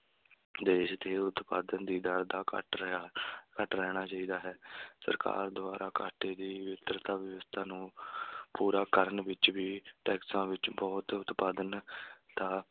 ਦੇਸ਼ ਦੀ ਉਤਪਾਦਨ ਦੀ ਦਰ ਦਾ ਘੱਟ ਰਿਹਾ ਘੱਟ ਰਹਿਣਾ ਚਾਹੀਦਾ ਹੈ ਸਰਕਾਰ ਦੁਆਰਾ ਘਾਟੇ ਦੀ ਵਿਵਸਥਾ ਨੂੰ ਪੂਰਾ ਕਰਨ ਵਿੱਚ ਵੀ ਟੈਕਸਾਂ ਵਿੱਚ ਬਹੁਤ ਉਤਪਾਦਨ ਦਾ,